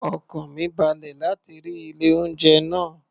Ọkàn mi balẹ̀ láti rí ilé-oúnjẹ náà